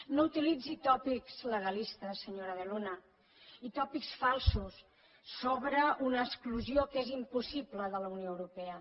no utilitzi tòpics legalistes senyora de luna i tòpics falsos sobre una exclusió que és impossible de la unió europea